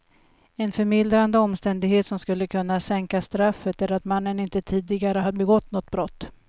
En förmildrande omständighet som skulle kunna sänka straffet är att mannen inte tidigare har begått något brott.